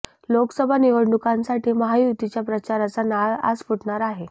लोकसभा निवडणुकांसाठी महायुतीच्या प्रचाराचा नारळ आज फुटणार आहे